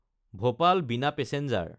ভূপাল–বিনা passenger